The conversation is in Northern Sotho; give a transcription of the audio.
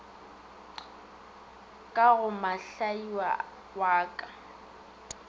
ka go mohlaia wa ka